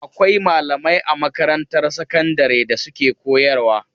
Akwai malamai a makarantar sakandare da suke koyarwa.